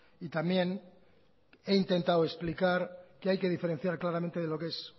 y también he intentado explicar que hay que diferenciar claramente de lo que es